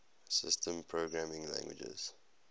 systems programming languages